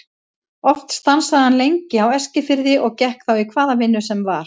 Oft stansaði hann lengi á Eskifirði og gekk þá í hvaða vinnu sem var.